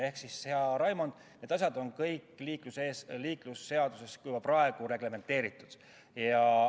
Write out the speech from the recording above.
Ehk siis, hea Raimond, need asjad on kõik liiklusseaduses juba praegu reglementeeritud.